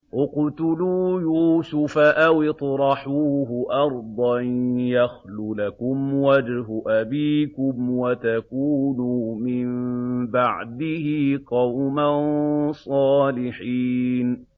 اقْتُلُوا يُوسُفَ أَوِ اطْرَحُوهُ أَرْضًا يَخْلُ لَكُمْ وَجْهُ أَبِيكُمْ وَتَكُونُوا مِن بَعْدِهِ قَوْمًا صَالِحِينَ